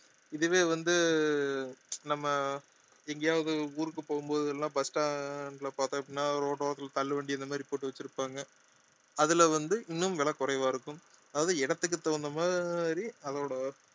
இதுவே வந்து நம்ம எங்கேயாவது ஊருக்கு போகும் போதெல்லாம் bus stand ல பார்த்தோம் அப்படின்னா ரோட்டோரத்தில தள்ளுவண்டி இந்த மாதிரி போட்டு வச்சிருப்பாங்க அதுல வந்து இன்னும் விலை குறைவா இருக்கும் அதாவது இடத்துக்கு தகுந்த மாதிரி அதோட